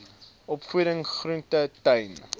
opvoeding groente tuine